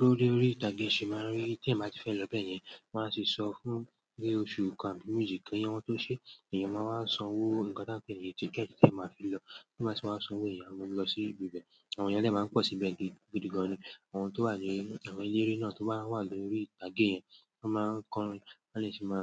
Lórí orí ìtàgé ṣe máa ń rí tí èèyàn ba tí fẹ́ lọ bẹ́yẹn, wọn a tì sọ fún pé oṣù kàn àbí méjì ki wọn tó ṣe, èèyàn máa wá sanwó nǹkan tí a ń pè ní ticket tí èèyàn máa a fi lọ. Ti èèyàn ba tì wá sanwó yen à mu lọ sí ibi bẹ́ẹ̀. Àwọn èèyàn dè máa ń pọ̀ síbẹ̀ gidi gan-an. Àwọn tó wà ni, àwọn eléré náà tó bá wà lórí ìtàgé yẹn, wọ́n máa ń kọ́rin, wón dè sì máa